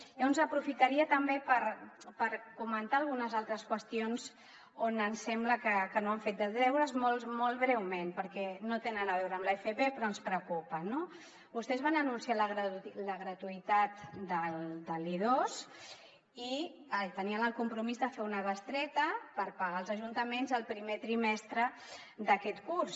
llavors aprofitaria també per comentar algunes altres qüestions on ens sembla que no han fet els deures molt breument perquè no tenen a veure amb l’fp però que ens preocupen no vostès van anunciar la gratuïtat de l’i2 i tenien el compromís de fer una bestreta per pagar als ajuntaments el primer trimestre d’aquest curs